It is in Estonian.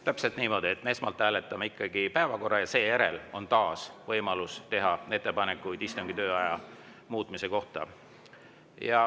Täpselt niimoodi, esmalt hääletame ikkagi päevakorra, ja seejärel on taas võimalus teha ettepanekuid istungi aja muutmise kohta.